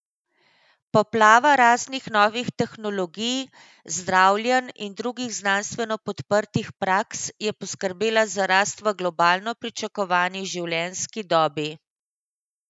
Poplava raznih novih tehnologij, zdravljenj in drugih znanstveno podprtih praks je poskrbela za rast v globalni pričakovani življenjski dobi.